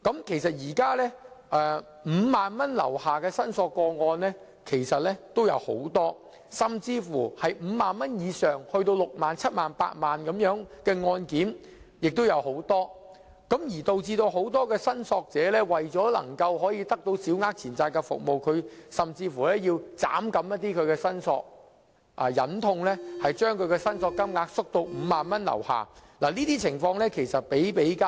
現時，有很多個案涉及5萬元或以下的申索個案，而涉及5萬元以上，以至6萬元、7萬元或8萬元的案件也有很多，以致很多申索者為獲得審裁處的服務而削減申索金額，忍痛把申索金額縮減至5萬元以下，這類情況比比皆是。